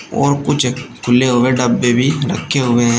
और कुछ खुले हुए डब्बे भी रखे हुए हैं।